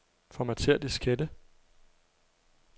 Formatér diskette.